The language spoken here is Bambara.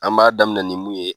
An b'a daminɛ ni mun ye